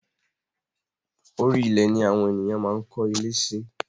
Orí ilẹ̀ ni awón ènìyàn máa ń kó ilé si